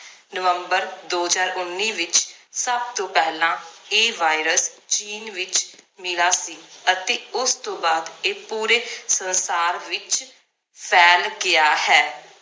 ਨਵੰਬਰ ਦੋ ਹਜਾਰ ਉੱਨੀ ਵਿਚ ਸਬ ਤੋਂ ਪਹਿਲਾਂ ਇਹ virus ਚੀਨ ਵਿਚ ਮਿਲਾ ਸੀ ਅਤੇ ਉਸ ਤੋਂ ਬਾਅਦ ਇਹ ਪੂਰੇ ਸੰਸਾਰ ਵਿਚ ਫੈਲ ਗਿਆ ਹੈ